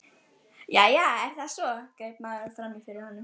Jæja, er það svo? greip maðurinn fram í fyrir honum.